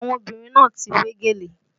Àwọn obìnrin náà ti wé gèlè